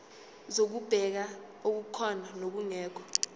zokubheka okukhona nokungekho